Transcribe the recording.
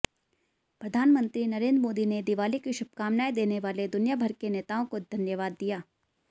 प्रधानमंत्री नरेंद्र मोदी ने दिवाली की शुभकामनाएं देने वाले दुनियाभर के नेताओं को धन्यवाद दिया